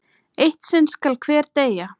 Eitt sinn skal hver deyja!